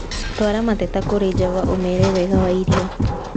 Twaara mateta kũrĩ java ũmeere wega wa irio